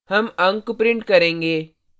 हम अंक print करेंगे